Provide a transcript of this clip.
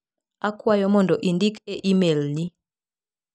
Akwayo mondo indik e imel ni.